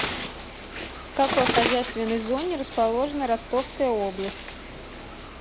в какой хозяйственной зоне расположена ростовская область